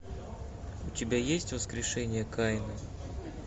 у тебя есть воскрешение каина